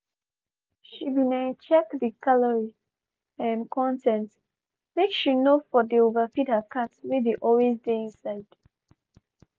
she been um check the calorie um con ten t make she no for dey overfeed her cat wey dey always dey inside.